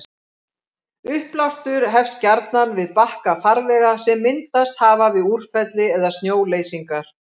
Uppblástur hefst gjarnan við bakka farvega sem myndast hafa við úrfelli eða snjóleysingar.